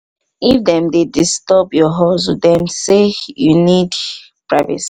if dem dey disturb your hustle dem sey you need privacy